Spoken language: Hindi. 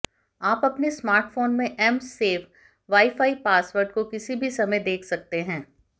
आप अपने स्मार्टफोन में एम्स सेव वाईफाई पासवर्ड को किसी भी समय देख सकते हैं